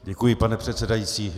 Děkuji, pane předsedající.